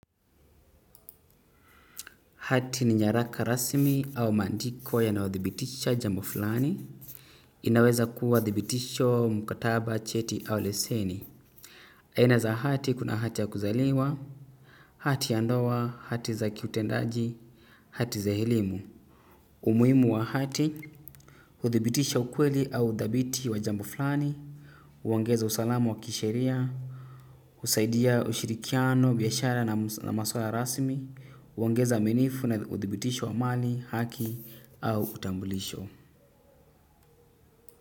Hati ni nyaraka rasmi au maandiko yanayodhibitisha jambo fulani. Inaweza kuwa dhibitisho mkataba cheti au leseni. Aina za hati kuna hati ya kuzaliwa. Hati ya ndoa, hati za kiutendaji, hati za elimu. Umuhimu wa hati. Huthibitisha ukweli au udhabiti wa jambo fulani. Huongeza usalamu wa kisheria. Husaidia ushirikiano, biashara na maswala rasmi. Huongeza minifu na uthibitisho wa amani, haki. Au utambulisho.